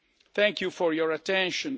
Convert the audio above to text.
Thank you for your attention.